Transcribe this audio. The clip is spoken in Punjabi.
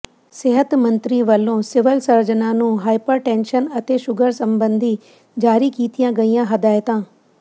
ਸਿਹਤ ਮੰਤਰੀ ਵਲੋਂ ਸਿਵਲ ਸਰਜਨਾਂ ਨੂੰ ਹਾਈਪਰਟੈਨਸ਼ਨ ਅਤੇ ਸ਼ੂਗਰ ਸਬੰਧੀ ਜਾਰੀ ਕੀਤੀਆਂ ਗਈਆਂ ਹਦਾਇਤਾਂ